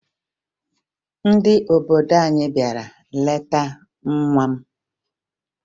Ndị obodo anyị bịara leta nwa